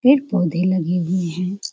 पेड़-पौधे लगे हुए हैं ।